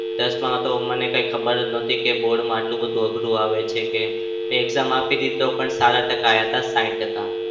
દસમાં તો મને કંઈ ખબર જ નતી કે board માં આટલું બધું અઘરું આવે છે કે મેં exam આપી હતી તો પણ સારા ટકા આવ્યા હતા. સાઈઠ ટકા.